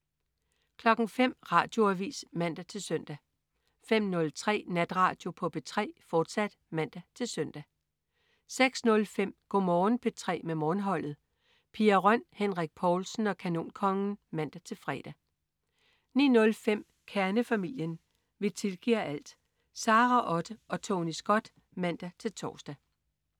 05.00 Radioavis (man-søn) 05.03 Natradio på P3, fortsat (man-søn) 06.05 Go' Morgen P3 med Morgenholdet. Pia Røn, Henrik Povlsen og Kanonkongen (man-fre) 09.05 Kernefamilien. Vi tilgiver alt! Sara Otte og Tony Scott (man-tors)